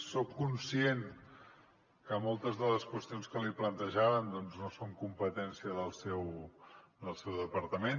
soc conscient que moltes de les qüestions que li plantejàvem doncs no són competència del seu departament